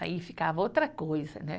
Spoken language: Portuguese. Aí ficava outra coisa, né?